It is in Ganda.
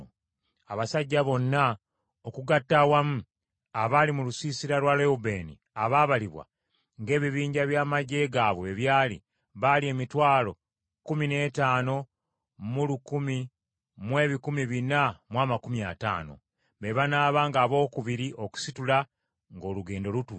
Abasajja bonna okugatta awamu abaali mu lusiisira lwa Lewubeeni abaabalibwa, ng’ebibinja by’amaggye gaabwe bwe byali, baali emitwalo kkumi n’ettaano mu lukumi mu ebikumi bina mu amakumi ataano (151,450). Be banaabanga abookubiri okusitula ng’olugendo lutuuse.